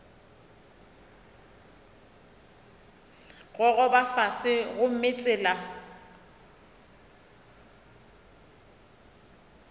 go gogoba fase gomme tsela